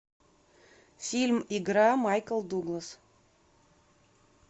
фильм игра майкл дуглас